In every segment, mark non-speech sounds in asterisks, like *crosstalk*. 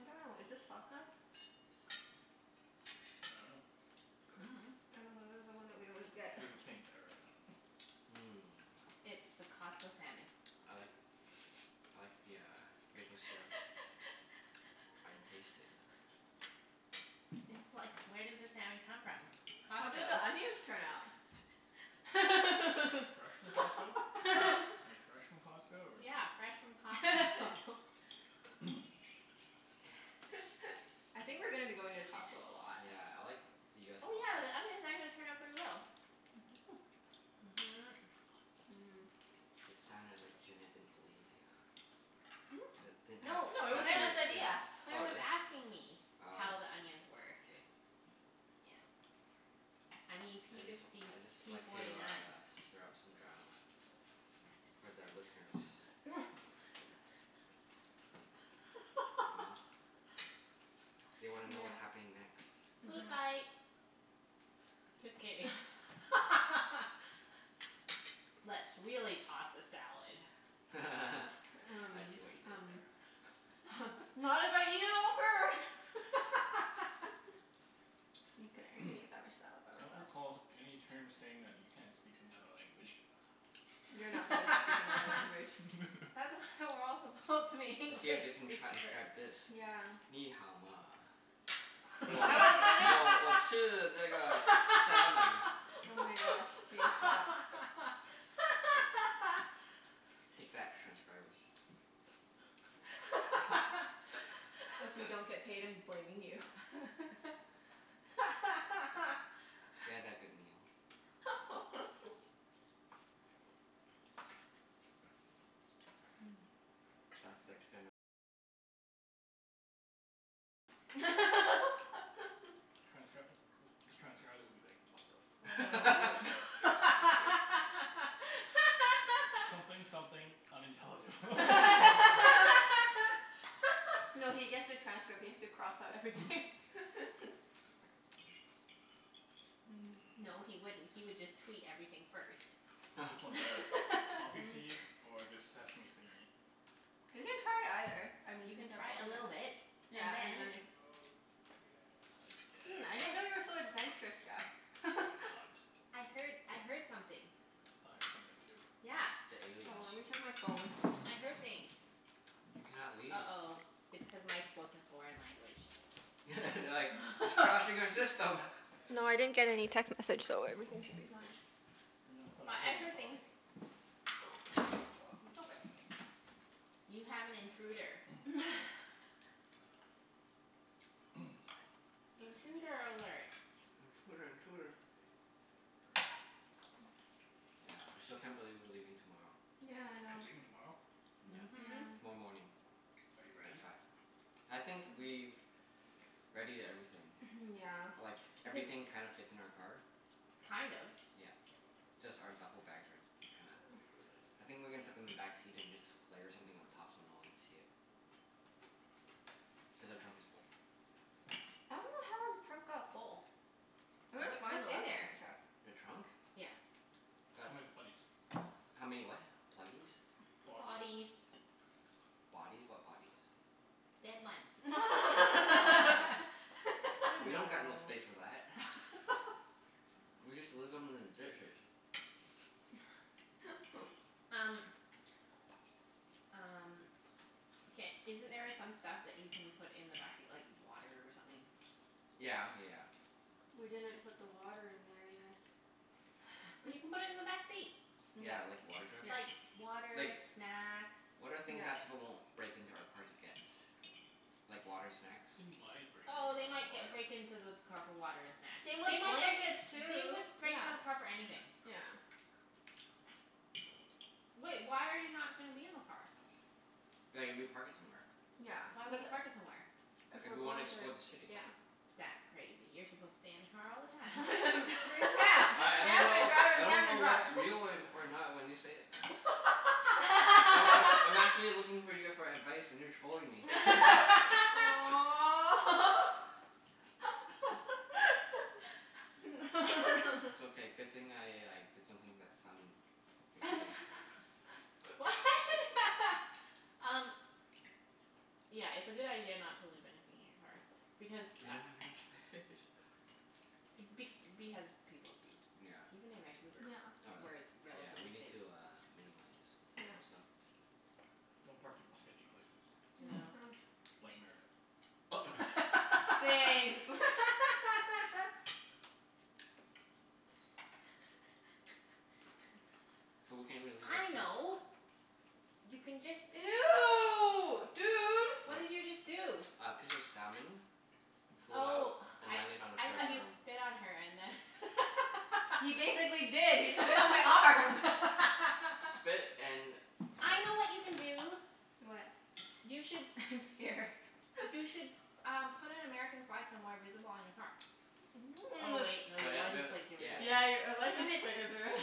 I don't know. Is this sockeye? I dunno. *noise* I don't know. This is the one that we always get. This *noise* is pink or I dunno. Mmm. It's the Costco salmon. I like I like the uh maple syrup. *laughs* I can taste it. *laughs* It's like, where does the salmon come from? How did Costco. the onions turn out? Fresh fresh from Costco? *laughs* *laughs* Are they fresh from Costco or like Yeah, fresh from Costco. *laughs* *laughs* *noise* *laughs* I think we're gonna be going to Costco a lot. Yeah, I like the US Oh yeah, the Costco. onions actually turned out pretty well. *noise* *noise* Mhm. Mmm. It sounded like Junette didn't believe you. That *noise* didn't Hmm? have No, No, it was trust Claire in your was, Junette's idea. skills. Claire Oh was really? asking me Oh. how the onions were. K. Yeah. I mean I p just *noise* w- fifty I just p like to forty nine. uh stir up some drama. For the listeners. *noise* You know? *laughs* They wanna know Yeah. what's happening next. Food Mhm. fight. *noise* Just kidding. *laughs* Let's really toss the salad. *laughs* I Um see what you did um there. *laughs* *laughs* Not if I eat it all first. *laughs* *laughs* Mkay, *noise* I can eat that much salad I by don't myself. recall any terms saying that you can't speak another language. You're not *laughs* supposed to speak another language. *laughs* That's why we're all supposed to be English See if they can transcribe speakers. this. Nǐ hǎo ma? I was *laughs* gonna *inaudible* salmon. Oh my gosh, K, stop. Take that, *laughs* transcribers. If we *laughs* don't get *laughs* paid I'm blaming you. It's okay. *laughs* We had that good meal. *laughs* *noise* *noise* Mmm. *laughs* Transcr- these transcribers will *noise* be like, "What the *laughs* fuck?" *laughs* "Something something, unintelligible." *laughs* *laughs* *laughs* No, he gets the transcript. He has to cross out everything. *noise* *laughs* *noise* Mmm. No, he Mmm. wouldn't. He would just tweet everything first. *noise* Which one's better? Poppy *laughs* Mm. seed or this sesame thingie? You can try either. I mean You you can can try try a both, little bit yeah and and then then if *noise* I Hmm, I didn't know guess. you were *noise* so adventurous, I Jeff. am *laughs* not. I heard I heard something. I thought I heard something too. Yeah. The Oh, let aliens. me check my phone. I heard things. You cannot leave. uh-oh, it's cuz Mike spoke in a foreign language. *laughs* They're like, "He's crashing *laughs* our system." No, I didn't get any text message so everything should be fine. No, I thought I But heard I him heard talking. things. Oh. Hear the talking? I dunno. You have an intruder. *noise* *laughs* *noise* Intruder alert. Intruder intruder. *noise* *noise* Yeah, I still can't believe we're leaving tomorrow. Yeah, I You're know. leaving tomorrow? Yeah. Mhm. Yeah. Tomorrow morning. *noise* Are you At ready? five. I think *noise* we've readied everything. Mhm, yeah. Like, *noise* everything kind of fits in our car. Kind of? Yeah. Just our duffle bags are t- kinda, *noise* I think we're gonna put them in the backseat and just layer something on top so no one can see it. Cuz our trunk is full. I dunno how our trunk got full. *noise* *noise* It looked Wha- fine the what's in last time there? I checked. The trunk? Yeah. Got How many bodies? How many what? Pluggies? *noise* Body Bodies. Bodies? What bodies? Dead ones. *noise* *laughs* You Oh. We know. don't got no *laughs* space for that. *laughs* We just leave them in the ditches. *laughs* Um *noise* Um, ca- isn't there some stuff that you can put in the backseat, like water or something? Yeah yeah yeah. We didn't put the water in there yet. *noise* But you can put it in the *laughs* backseat. Yeah. Yeah, like a water jug? Yeah. Like water, Like, snacks. *noise* what are things They Yeah. that people won't might break into our car to break get? into Like your water, snacks? car Oh for they might ge- break water. into the car for water and snacks. Same with They might break, blankets, they would too. break Yeah. into the car for anything. Yeah. *noise* *noise* Wait, why are you not gonna be in the car? Like if we park it somewhere. Yeah, Why would like you park it somewhere? If If we're we wanna going to, explore the city. yeah. *noise* That's crazy. You're supposed to stay in the car all the *laughs* time. Yeah. Just I I don't camp and know drive I and don't camp know and drive. what's real or *laughs* or not when you say it. Oh I I'm *laughs* actually *laughs* looking for you for advice and you're trolling *noise* me. *laughs* *laughs* Aw. *laughs* It's *laughs* okay. Good thing I like did something to that salmon you're eating. *laughs* What? Um Yeah, it's a good idea not to leave anything in your car. Because We a- don't have enough space. Be- because people do, *noise* Yeah. even in Vancouver, *noise* Yeah. Oh where really? it's Yeah, we relatively need safe. to uh minimize some Yeah. stuff. Don't park in sketchy places Yeah. *noise* *noise* like America. *noise* Thanks. *laughs* *noise* *noise* So we can't even *laughs* leave our I food. know You *noise* can *noise* just Ew, dude. What? What did you just do? A piece of salmon flew out Oh, *noise* and I landed on I Claire's thought you arm. spit on her and then *noise* *laughs* He basically did. He spit on my arm. Spit *laughs* and I know what you can do. What? You should I'm scared. You *laughs* should um put an American flag somewhere visible on your car. Oh *noise* wait, no. Your But th- license we plate give it Yeah. away. Yeah, you're ri- a Damn license it. plate is re- *laughs*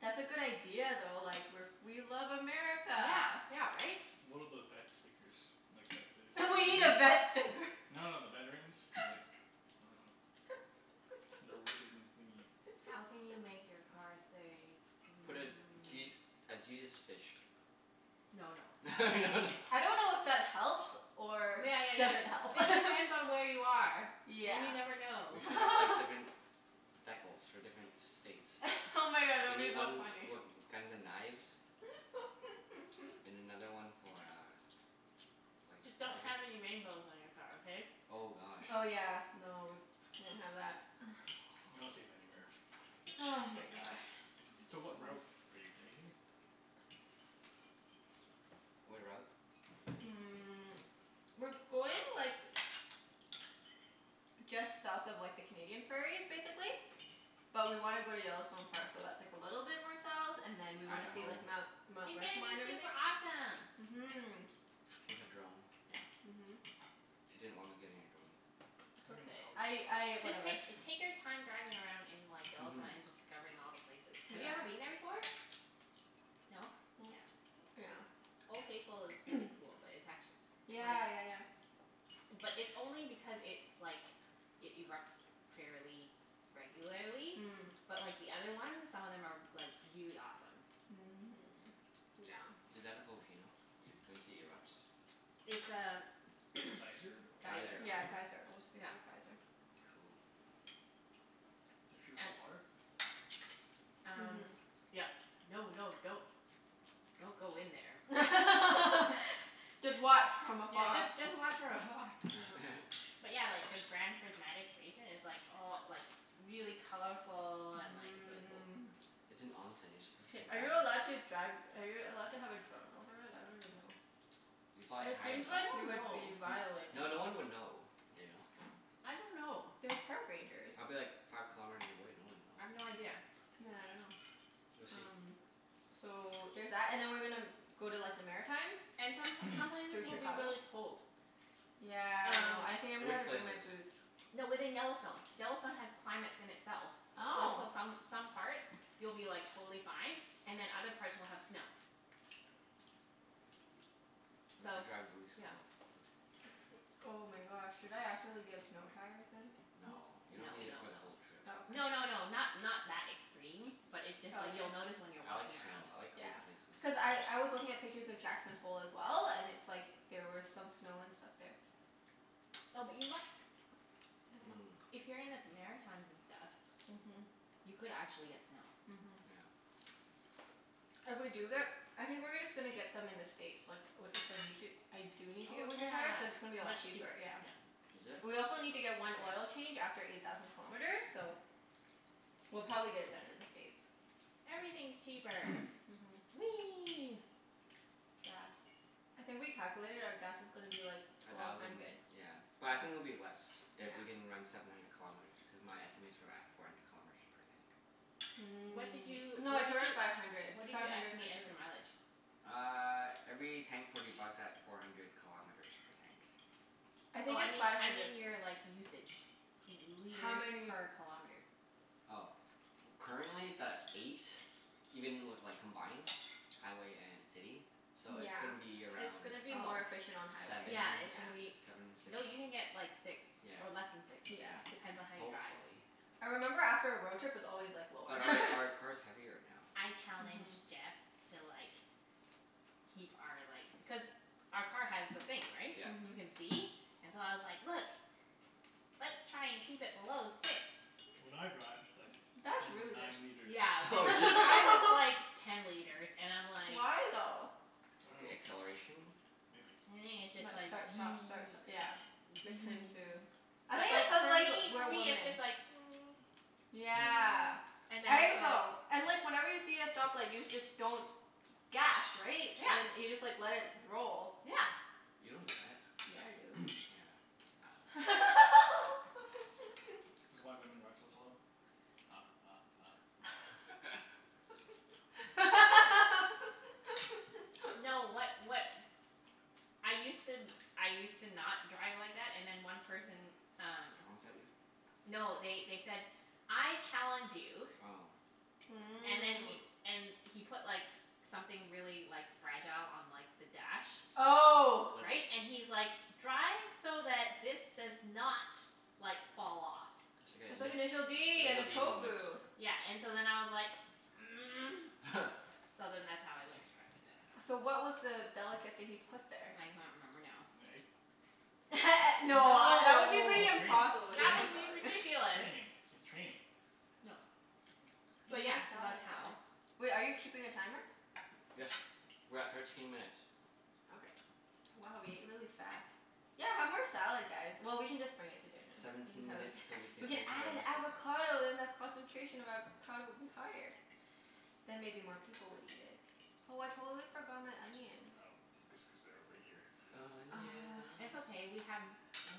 That's a good idea though. Like we're f- we love America. Yeah, yeah right? One of those vet stickers. Like that We need a vet sticker. *inaudible* No, no, the veterans. *noise* Like, I dunno. The ribbon thingie. How can you make *laughs* your car say *noise* Put a mm Je- a Jesus fish. No no. *noise* *laughs* No no. I don't know if that helps or Yeah, yeah, doesn't help. *laughs* yeah. It depends on where you are. And you Yeah. never We know. should have like *laughs* different decals for different states. *laughs* Oh my god, that We would be need though one funny. with guns and knives. And *laughs* another one for uh like *noise* a Just don't flag. have any rainbows on your car, okay? Oh gosh. Oh yeah, no, won't have *noise* that. *noise* You're not safe anywhere. *laughs* Ah, my god. So what route *inaudible* are you taking? What route? Mm, *noise* *noise* we're going like just south of like the Canadian prairies, basically. But we want to go to Yellowstone Park, so that's like a little bit more south, and then we want to see Idaho. like Mount *noise* Mount It's gonna Rushmore be and everything. super awesome. Mhm. With a drone? Yeah. Mhm. *noise* She didn't want me getting a drone. It's okay. I I, *inaudible* Just whatever. take take your time driving around in like Yellowstone Mhm. and discovering all the places. Have you ever been Yeah. there before? Yeah. No? *noise* *noise* Yeah. Yeah. Mm. Old Faithful is pretty *noise* cool, but it's actu- *noise* like Yeah, yeah, yeah. But it's only because it's like, it erupts fairly regularly. Mm. But like the other ones, some of them are like really awesome. *noise* Is that a volcano? Y- when you say erupts? It's a *noise* Geyser? *noise* geyser. Geyser. Oh. Yeah, geyser. Old Yeah. Faithful geyser. Cool. *noise* Does *noise* shoot hot And water? Um Mhm. yep. No, no, don't don't go in *noise* *noise* there. *laughs* *laughs* Just watch from Yeah, afar. just just watch from afar. Yeah. *laughs* But yeah, like the Grand Prismatic Basin is like all like really colorful and like really cool. Mmm. It's an. *inaudible* You're supposed to Hey, take are you a allowed bath in it. to drive, are you allowed to have a *noise* drone over it? I don't even know. If you fly it It high seems enough. I like don't you N- would know. be violating. no, no one would know, you know? I don't know. There's park rangers. I'd be like five kilometers away. No one *noise* I've no would know. idea. Yeah, I dunno. We'll see. Um so there's that. And then we're gonna go to like the Maritimes. And some *noise* some places Through will be Chicago. really cold. Yeah, I Um know. *noise* I think I'm gonna Which have to bring my places? boots. No, within Yellowstone. Yellowstone has *noise* climates in itself. Like Oh. so some some parts you'll be like totally fine and then other parts will have snow. *noise* We'll have So, to drive really yeah. slow. *noise* Oh my gosh, should I actually get snow tires then? N- *noise* No. You don't no need it no for the no. whole trip. *noise* Oh, No, okay. no, no, not not that extreme. But it's just Oh, like okay. you'll notice when you're I like walking snow. around. I like Yeah. cold places. Cuz I I was looking at pictures of Jackson Hole as well, and it's like there were some snow and stuff there. No, but you *noise* mi- Mmm. if you're in the Maritimes and stuff *noise* Mhm. You could actually get snow. Mhm. Yeah. If we do get, I think we're gonna just gonna get them in the States like i- if we need to, I *noise* do need to Oh get winter tires. Cuz it's gonna be a yeah, lot much cheaper. cheaper. Yeah. Yep. Is it? We also need to That's get one oil fair. change after eight thousand kilometers, so We'll probably get it done in the States. Everything's *noise* cheaper. *noise* Mhm. Whee! Gas. I think we calculated our gas *noise* is gonna *noise* be like A twelve thousand, hundred. yeah. But I think it'll be less Yeah. if we can run seven hundred kilometers, because my estimates were at four hundred *noise* kilometers per tank. What did Mm. you No, what did it's around you five hundred. what did Five you hundred *inaudible* estimate as your mileage? Uh every tank forty bucks at four hundred kilometers per tank. *noise* I Oh think I it's mean five I hundred. mean your like usage. L- How liters many per kilometer. Oh. Currently it's at eight, even with like combined, highway and city. *noise* *noise* So it's Yeah. gonna be It's around gonna be Oh. more efficient on seven? highway. Yeah, it's Yeah. gonna be, Seven m- six. no, you can get like six, Yeah, or less than six. Yeah. yeah. Depends on how you drive. Hopefully. I remember after a road trip it's *noise* always like lower. But our our *laughs* car's heavier now. I Mhm. challenged Jeff to like keep our like, cuz our car has the thing, *noise* right? Yeah. You Mhm. can see. And so I was like, "Look, let's try and keep it below six." *noise* When I drive it's like That's really ten good. nine liters. Yeah, Oh, when really? he drives it's like *laughs* ten liters and I'm like Why, though? The acceleration? I Maybe it's just Like dunno. like. *noise* start, stop, start, st- Maybe. yeah. *inaudible* him too. *noise* *noise* I But think it's like cuz for like, me for we're me it's just women. like *noise* *noise* Yeah. *noise* and then I it's think like so. And like whenever you see a stoplight you just don't gas, right? And then Yeah. you just like let it *noise* roll. Yeah. You don't do that. Yeah, I do. Yeah, *noise* I dunno. *laughs* Is that why women drive so slow? Ha ha ha. *noise* No, what *laughs* what I used to, I used to not drive like Oh. that, and then one *noise* person um Honked at you? No, they they said "I challenge you" Oh. *noise* and then he, Mmm. and he put like something really like fragile on like the dash. *noise* Oh. Like Right? And he's like, "Drive so that this does not like fall off." *noise* I said initial d and the *inaudible* D moment. tofu. Yeah, and so then I was like *noise* *laughs* So then that's how I learned to drive like that. So what was the delicate thing he put there? I can't remember now. An egg? *laughs* *laughs* No, that would be No. pretty It's just impossible. That would training. be Training. *inaudible* ridiculous. Training. It's training. *noise* No. But Eat more yeah, so that's salad how guys. Wait, are you keeping a timer? Yes. We're at thirteen minutes. Okay. Wow, we ate *noise* really fast. *noise* *noise* Yeah, have more salad guys. Well, we can just bring it to dinner. We can Seventeen have a s- minutes til we can we can play add Terra an Mystica. avocado then the concentration of avocado would be higher. *noise* I Then maybe more people would eat it. Oh, I totally forgot my *noise* onions. know. Just cuz they're over here. *noise* It's Onions. okay, we have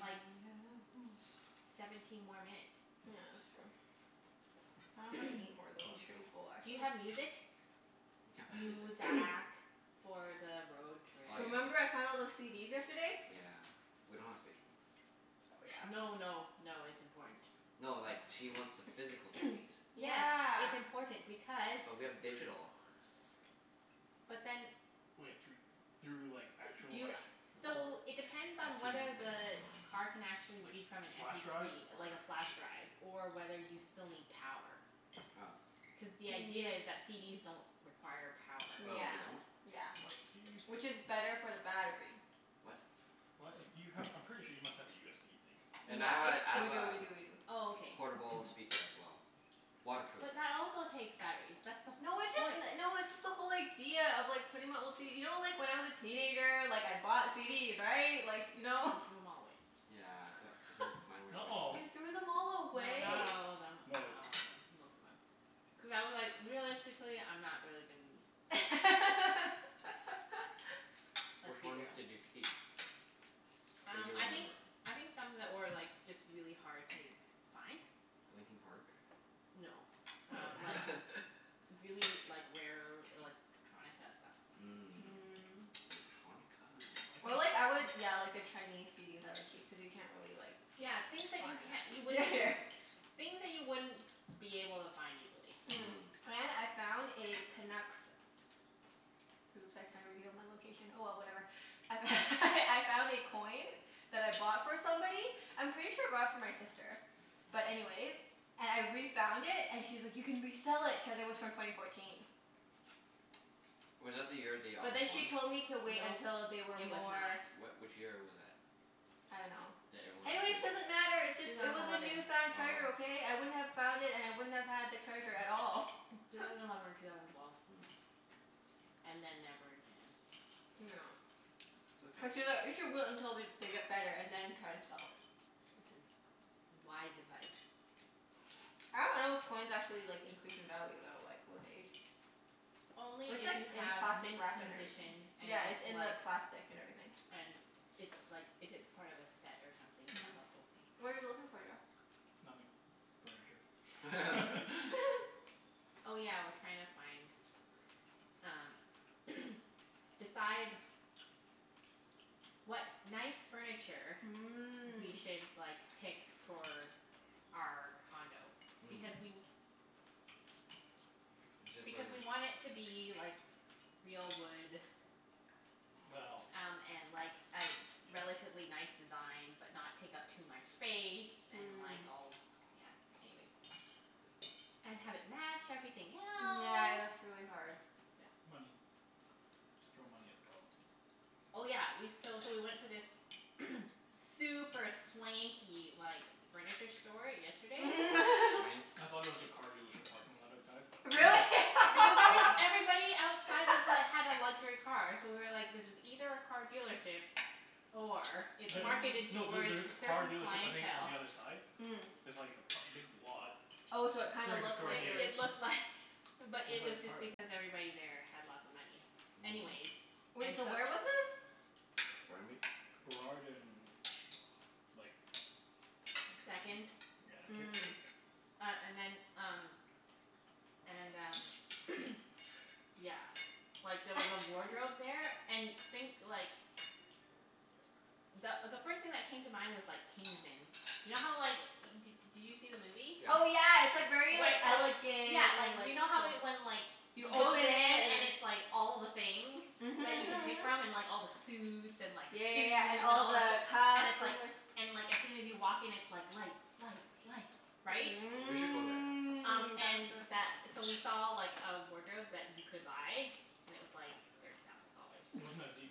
like Onions. seventeen more yes. minutes. Yeah, that's true. I dunno if I can eat *noise* more, We though. can I'm pretty chill. full, Do you actually. have music? We can't play *noise* music. *noise* Muzak. For the road trip. Oh Remember yeah. I found all those CDs yesterday? Yeah. We don't have space for them. Oh, yeah. No, no, no, it's important. *noise* No, like she wants the physical *noise* CDs. Yes. Yeah. It's important because But we have digital. *inaudible* But then Wai- thr- through like actual Do you, like recor- so it depends A on CD whether player. the car can actually Like, read from an m flash p drive three, or like a flash drive Or whether you still need power. Oh. Cuz the idea is *noise* that CDs don't require power. Oh, Yeah. they don't? Yeah. What CDs? Which is better for the battery. What? What? If you have, I'm pretty sure you must have a USB thing. And Yeah. I have a I We have do, a we do, we do. Oh, All okay. right. portable That's good. speaker as *noise* well. Waterproof. But that also takes batteries. That's the No, it's just point. n- no, it's just the whole idea of like putting my old CD, you know like when I was a teenager, like I bought CDs, right? Like, you know? He threw them all away. Yeah d- *noise* mine *noise* were a Not all. You waste of money. threw them all No, away? not Most. all of them. Not Most. all of them. Most of them. Cuz I was like, realistically I'm not really gon- *laughs* *noise* Let's Which be ones real. did you keep? *noise* That you Um I think, remember? I think some that were like just really hard to find. Linkin Park? No, um like *laughs* really, like rare electronica stuff. Mm Mm. electronica. *noise* Electronica? Or *noise* like I would yeah, like the Chinese CDs I would keep, cuz you can't really like Yeah, things that find you can't, you them. Yeah, wouldn't yeah. *noise* Things that you wouldn't be able to find easily. Mm, Mhm. and I found a Canucks, oops I kinda revealed my location. Oh well, *noise* whatever. I f- *laughs* I found a coin that I bought for somebody. I'm pretty sure I bought it for my sister. But anyways, and I refound it and she was like, "You can resell it." Cuz it was from twenty fourteen. *noise* *noise* Was that the year they But almost then she won? told me to wait Nope. until they were It was more not. What, which year was that? I don't know. That everyone is thinking? Anyways, doesn't matter. It's just, Two it thousand was a eleven. newfound treasure, Oh. okay? I wouldn't have found it and *noise* I wouldn't have had the treasure at all. Two *laughs* thousand eleven or two thousand twelve. *noise* Mm. And then never again. *noise* *noise* *laughs* *inaudible* *noise* It's okay. we should wait until they they get better and then try to sell it. This is wise advice. I don't know if coins actually *laughs* like *noise* increase in value though, like with age. Only It's if like you in have plastic mint wrap and everything. condition and Yeah, it's it's in like the plastic and everything. and it's like, if it's part of a set or something, you *noise* have the *noise* whole thing. What are you looking for, Jeff? *noise* Nothing. *noise* Furniture. *laughs* *laughs* Mhm. *laughs* *noise* Oh yeah, we're trying to find um *noise* decide what nice furniture we Mm. should like pick for our condo. *noise* Hmm. Because we *noise* Is it for because we want it to be like real wood Well. Yeah. um and like a relatively nice design, but not take up too much space. And Mm. like all, yeah. Anyways. *noise* And have it match everything Yeah, else. that's really hard. *noise* Money. *noise* Just throw money at the problem. Oh yeah, we, so so we went to this *noise* super swanky like furniture store yesterday. Swanky. *laughs* *noise* I thought it was a car dealership parking lot outside, but no. Really? *laughs* Because it was, *inaudible* everybody outside was like, had a luxury car, so we were like, this is either a car dealership or it's *laughs* marketed Mm. No, there towards there is a a car certain dealership, I think, on clientele. the other side. Mm. There's like a p- a big lot. Oh, so it kinda Furniture looked store It like it here. was it looked Looked like, but it was like part just of it. because everybody *noise* there had lots of money. Anyways, Mm. Wait, and so so where was this? Burnaby? Burrard and like Vancouver. Second. Yeah, Kits. Mm. Uh and then, um And um *noise* yeah, *noise* like there was a wardrobe *laughs* there. And think like the the first thing that came to mind was like Kingsmen. *noise* You know how like, d- did you see the movie? Oh Yeah. yeah, it's like very Where like it's like, yeah, elegant like and you like know how when like You he open goes in it and and then it's like all the things that you Mhm can mhm pick mhm. from, and like all the suits and Yeah, like yeah, shoes, yeah. And and all all the the, and cuffs it's and the like and like as soon as you walk in it's like lights, *noise* lights, lights, Mm. right? We should go That there. sounds Um and really th- so cool. we saw like a wardrobe that you could buy. And it was like thirty thousand *noise* dollars. Wasn't as deep.